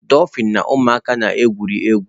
Dofin na ụmụaka na-egwuri egwu